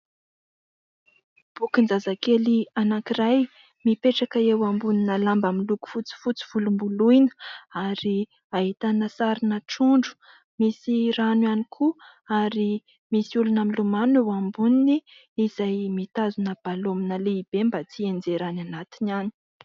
Bokin-jazakely anankiray mipetraka eo ambonina lamba miloko fotsifotsy volomboloina ary ahitana sarina trondro, misy rano ihany koa ary misy olona milomano eo amboniny, izay mitazona balaonina lehibe mba tsy hianjera any anatiny any.